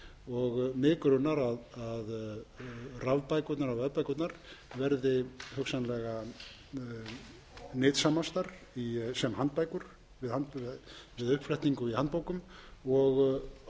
tæknileg eins og við vitum mig grunar að rafbækurnar og vefbækurnar verði hugsanlega nytsamastar sem handbækur við uppflettingu í handbækur og